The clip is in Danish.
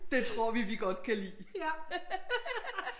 Det tror vi vi godt kan lide